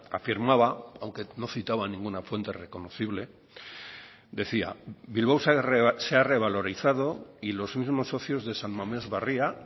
afirmaba aunque no citaba ninguna fuente reconocible decía bilbao se ha revalorizado y los mismos socios de san mamés barria